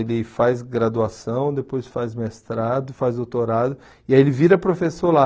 Ele faz graduação, depois faz mestrado, faz doutorado e aí ele vira professor lá.